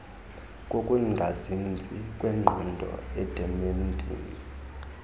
kokungazinzi kwengqondo idementia